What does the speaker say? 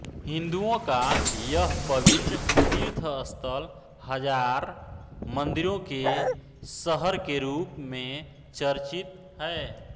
हिन्दुओं का यह पवित्र तीर्थस्थल हजार मंदिरों के शहर के रूप में चर्चित है